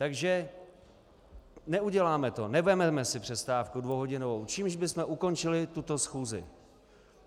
Takže neuděláme to, nevezmeme si přestávku dvouhodinovou, čímž bychom ukončili tuto schůzi.